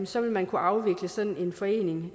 så vil man kunne afvikle sådan en forening